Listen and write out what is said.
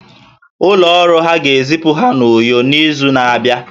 Ụlọ ọrụ ha ga-ezipụ ha n'Uyo n'izu na-abịa